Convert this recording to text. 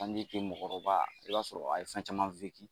kɛ bi mɔgɔkɔrɔba o y'a sɔrɔ a ye fɛn caman